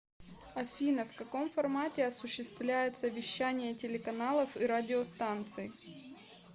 афина в каком формате осуществляется вещание телеканалов и радиостанций